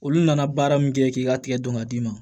Olu nana baara min kɛ k'i ka tigɛ don ka d'i ma